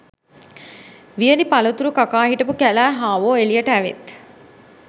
වියළි පලතුරු කකා හිටපු කැලෑ හාවො එළියට ඇවිත්